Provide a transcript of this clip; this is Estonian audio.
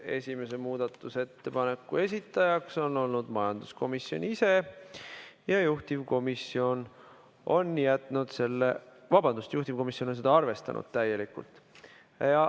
Esimese muudatusettepaneku esitaja on majanduskomisjon ise ja juhtivkomisjon on arvestanud seda täielikult.